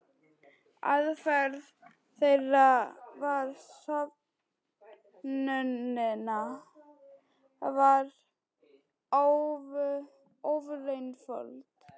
Aðferð þeirra við söfnunina var ofureinföld.